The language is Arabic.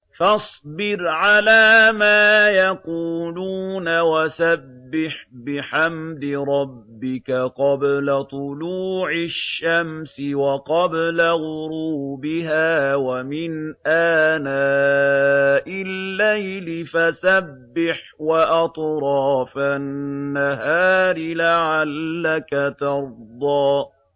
فَاصْبِرْ عَلَىٰ مَا يَقُولُونَ وَسَبِّحْ بِحَمْدِ رَبِّكَ قَبْلَ طُلُوعِ الشَّمْسِ وَقَبْلَ غُرُوبِهَا ۖ وَمِنْ آنَاءِ اللَّيْلِ فَسَبِّحْ وَأَطْرَافَ النَّهَارِ لَعَلَّكَ تَرْضَىٰ